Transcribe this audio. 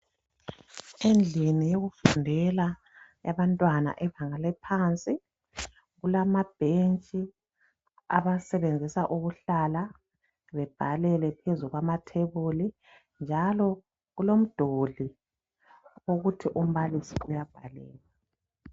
Endlini yokufundela yabantwana bezinga eliphansi kulamabhentshi abawasebenzisa ukuhlala bebhalele phezu kwamathebuli njalo kulomduli okuthi umbalisi uyabhalela